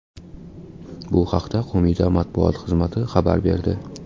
Bu haqda qo‘mita matbuot xizmati xabar berdi.